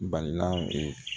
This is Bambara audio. Balila